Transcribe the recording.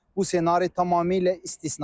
Bu ssenari tamamilə istisnadır.